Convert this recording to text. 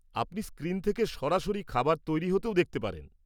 আপনি স্ক্রিন থেকে সরাসরি খাবার তৈরি হতেও দেখতে পারেন।